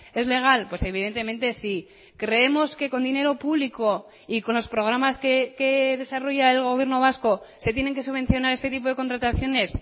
es legal pues evidentemente sí creemos que con dinero público y con los programas que desarrolla el gobierno vasco se tienen que subvencionar este tipo de contrataciones